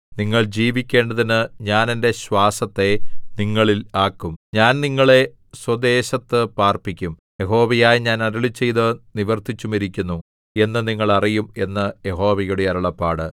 നിങ്ങൾ ജീവിക്കേണ്ടതിന് ഞാൻ എന്റെ ശ്വാസത്തെ നിങ്ങളിൽ ആക്കും ഞാൻ നിങ്ങളെ സ്വദേശത്ത് പാർപ്പിക്കും യഹോവയായ ഞാൻ അരുളിച്ചെയ്തു നിവർത്തിച്ചുമിരിക്കുന്നു എന്നു നിങ്ങൾ അറിയും എന്ന് യഹോവയുടെ അരുളപ്പാട്